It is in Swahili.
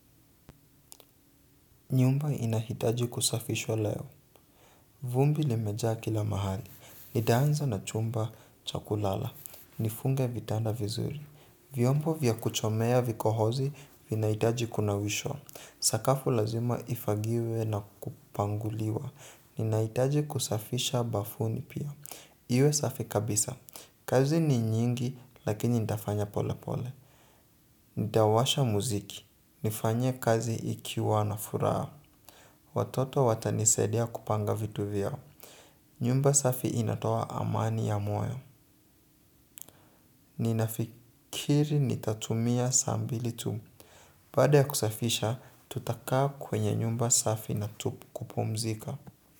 Nyumba inahitaji kusafishwa leo. Vumbi limejaa kila mahali. Nitaanza na chumba cha kulala. Nifunge vitanda vizuri. Vyombo vya kuchomea vikohozi vinahitaji kunawishwa. Sakafu lazima ifagiwe na kupanguliwa. Ninahitaji kusafisha bafuni pia. Iwe safi kabisa. Kazi ni nyingi lakini nitafanya pole pole. Nitawasha muziki nifanye kazi ikiwa na furaha. Watoto watanisaidia kupanga vitu vyao. Nyumba safi inatoa amani ya moyo. Ninafikiri nitatumia saa mbili tu. Baada ya kusafisha, tutakaa kwenye nyumba safi na tu kupumzika.